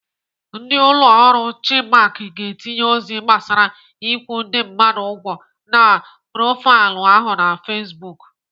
Ndị ụlọ ọrụ Chinmark ga-etinye ozi gbasara ịkwụ ndị mmadụ ụgwọ na profaịlụ ahụ na Facebook.